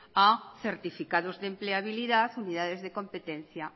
a certificados de empleabilidad unidades de competencia